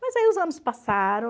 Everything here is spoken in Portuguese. Mas aí os anos passaram.